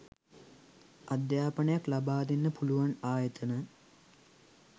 අධ්‍යාපනයක් ලබා දෙන්න පුළුවන් ආයතන